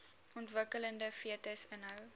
ontwikkelende fetus inhou